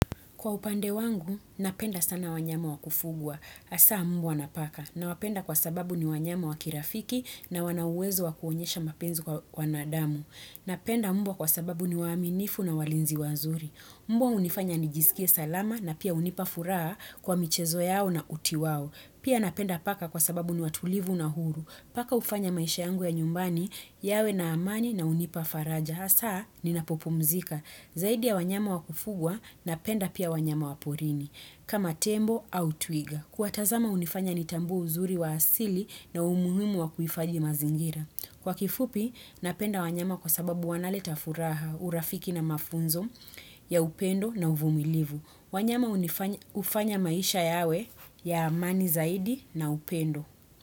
Kwa upande wangu, napenda sana wanyama wa kufugwa. Hasaa mbwa na paka. Nawapenda kwa sababu ni wanyama wa kirafiki na wana uwezo wa kuonyesha mapinzi kwa wanadamu. Napenda mbwa kwa sababu ni waaminifu na walinzi wazuri. Mbwa hunifanya nijisikie salama na pia hunipa furahaa kwa michezo yao na uti wao. Pia napenda paka kwa sababu ni watulivu na huru. Paka hufanya maisha yangu ya nyumbani, yawe na amani na hunipa faraja. Hasaa, ninapopumzika. Zaidi ya wanyama wa kufugwa napenda pia wanyama wa porini, kama tembo au twiga. Kuwatazama hunifanya nitambue uzuri wa asili na umuhimu wa kuhifathi mazingira. Kwa kifupi, napenda wanyama kwa sababu wanaleta furaha, urafiki na mafunzo ya upendo na uvumilivu. Wanyama hufanya maisha yawe ya amani zaidi na upendo.